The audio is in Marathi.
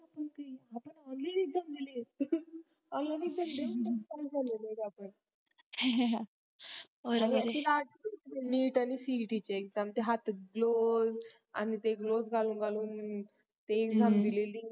हा हा हा neet आणि cet चे exam ते हातात blouse उसे आणि ते blouse घालून